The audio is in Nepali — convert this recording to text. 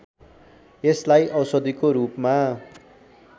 यसलाई औषधिको रूपमा